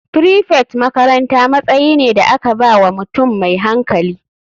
Prefect makaranta matsayi ne da aka ba wa mutum mai hankali.